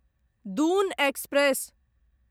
Doon express